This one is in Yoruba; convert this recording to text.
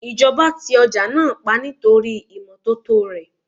Ìjọba ti ọjà náà pa nítorí ìmọ́tótó rè.